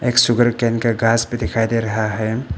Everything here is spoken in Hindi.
एक सुगरकेन का घास भी दिखाई दे रहा हैं।